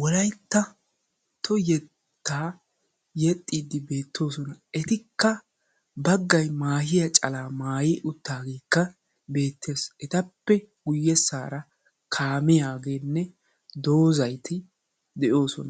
wolayttatto yettaa yexxiiddi beettoosona. Etikka baggayi maahiya calaa maayi uttaageekka be'eettes. Etappe guyyeessaara kaamiya ogeenne doozati de'oosona.